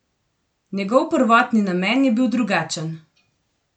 Njegov prvotni namen je bil drugačen.